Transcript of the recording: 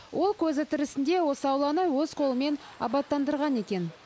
ол көзі тірісінде осы ауланы өз қолымен абаттандырған екен